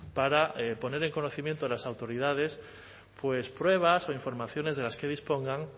para poner en conocimiento de las autoridades pruebas o informaciones de las que dispongan